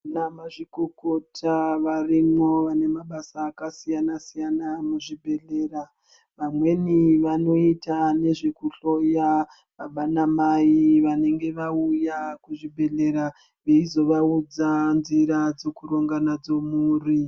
Vana mazvikokota varimwo vanemabasa akasiyana siyana muzvibhedhlera vamweni vanoita nezveku hloya baba na mai vanenge vauya kuzvibhedhlera veizovaudza nzira dzekuronga nadzo mhuri.